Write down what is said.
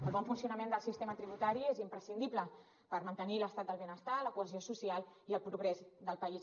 el bon funcionament del sistema tributari és imprescindible per mantenir l’estat del benestar la cohesió social i el progrés del país